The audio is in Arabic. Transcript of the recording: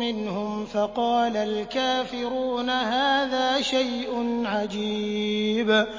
مِّنْهُمْ فَقَالَ الْكَافِرُونَ هَٰذَا شَيْءٌ عَجِيبٌ